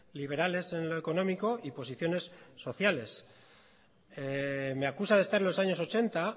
liberales en lo económico y posiciones sociales me acusa de estar en los años ochenta